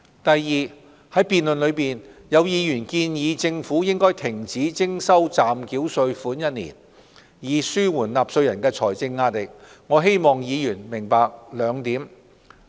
第二，在辯論中，有議員建議政府停止徵收暫繳稅款1年，以紓緩納稅人的財政壓力，我希望議員明白兩點。